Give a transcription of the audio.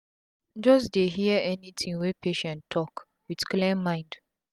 just dey hear any tin wey patient talk with clear mind um